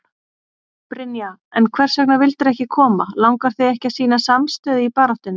Brynja: En hvers vegna vildirðu ekki koma, langar þig ekki að sýna samstöðu í baráttunni?